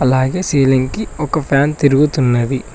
అలాగే సీలింగ్ కి ఒక ఫ్యాన్ తిరుగుతున్నది.